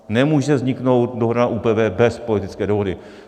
Nemůže vzniknout dohoda na ÚPV bez politické dohody.